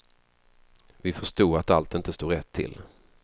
Vi förstod att allt inte stod rätt till.